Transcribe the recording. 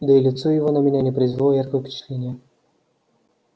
да и лицо его на меня не произвело яркого впечатления